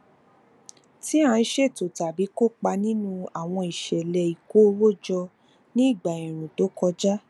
tí a ń ṣètò tàbí kópa nínú àwọn ìṣẹlẹ ìkó owó jọ ní ìgbà ẹẹrùn tó kọjá